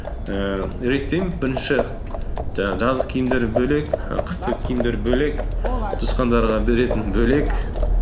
ііі реттеймін бірінші жаңағы жаздық киімдер бөлек і қыстық киімдер бөлек туысқандарға беретін бөлек